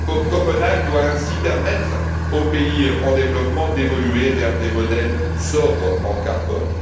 Copenhague doit ainsi permettre aux pays en développement d'évoluer vers des modèles sobres en carbone.